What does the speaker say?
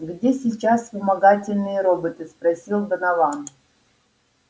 где сейчас вспомогательные роботы спросил донован